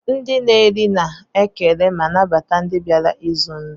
Ndi na eri na ekele ma nabata ndi biara ịzụ nri.